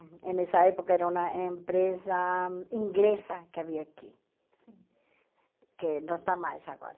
E nessa época era uma empresa inglesa que havia aqui, que não está mais agora.